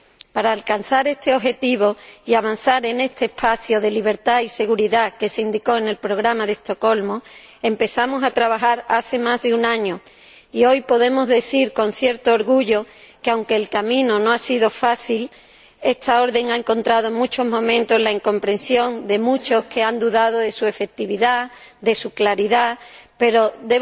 Para alcanzar este objetivo y avanzar en este espacio de libertad y seguridad que se indicó en el Programa de Estocolmo empezamos a trabajar hace más de un año y hoy podemos decir con cierto orgullo que, aunque el camino no ha sido fácil —porque esta orden ha encontrado en muchos momentos la incomprensión de muchos que han dudado de su efectividad, de su claridad—, lo hemos conseguido.